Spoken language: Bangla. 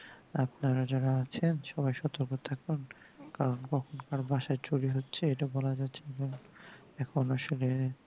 আপনারা যারা আছেন সবাই সতর্ক থাকুন কারণ কখন কার বাসায় চুরি হচ্ছে এটা বলা যাচ্ছেনা এখন আসলে